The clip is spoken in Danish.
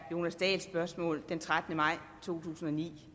jonas dahls spørgsmål den trettende maj to tusind og ni